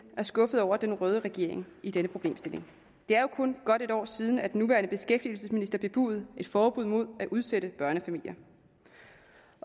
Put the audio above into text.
er skuffede over den røde regering i denne problemstilling det er jo kun godt et år siden at den nuværende beskæftigelsesminister bebudede et forbud mod at udsætte børnefamilier